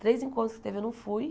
Três encontros que teve, eu não fui.